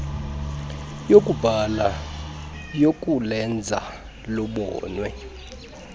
yokubhala yokulenza lubonwe